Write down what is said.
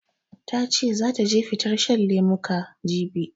Ta ce zata je fitar shan lemuka, jibi.